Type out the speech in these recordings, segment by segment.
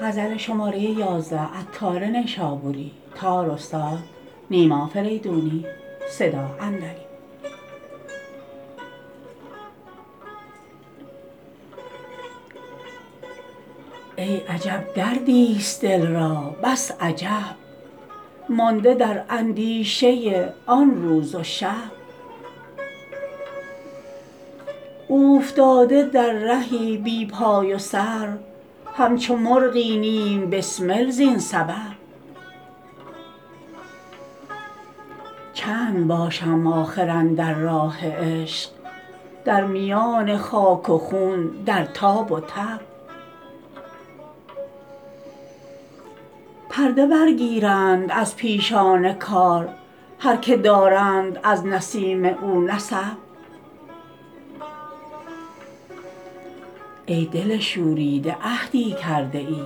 ای عجب دردی است دل را بس عجب مانده در اندیشه آن روز و شب اوفتاده در رهی بی پای و سر همچو مرغی نیم بسمل زین سبب چند باشم آخر اندر راه عشق در میان خاک و خون در تاب و تب پرده برگیرند از پیشان کار هر که دارند از نسیم او نسب ای دل شوریده عهدی کرده ای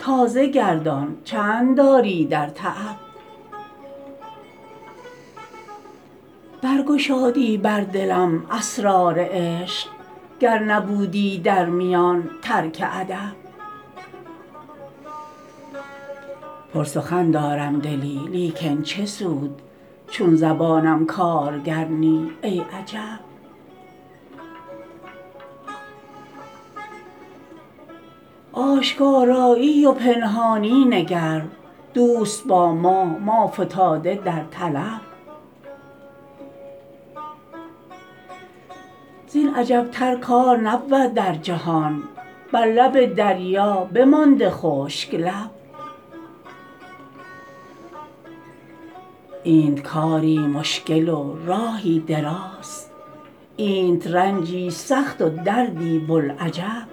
تازه گردان چند داری در تعب برگشادی بر دلم اسرار عشق گر نبودی در میان ترک ادب پر سخن دارم دلی لیکن چه سود چون زبانم کارگر نی ای عجب آشکارایی و پنهانی نگر دوست با ما ما فتاده در طلب زین عجب تر کار نبود در جهان بر لب دریا بمانده خشک لب اینت کاری مشکل و راهی دراز اینت رنجی سخت و دردی بوالعجب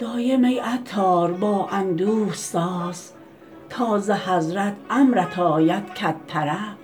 دایم ای عطار با اندوه ساز تا ز حضرت امرت آید کالطرب